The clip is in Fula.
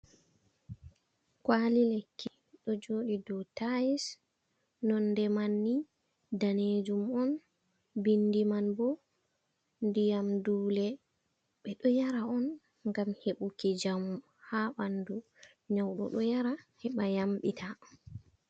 Kuwali lekki ɗo joɗi dow tayis, nonnde manni danejum on, bindi man bo ndiyam dule ɓeɗo yara on ngam heɓuki njamu ha ɓanndu, nyauɗo ɗo yara heɓa yamɗita.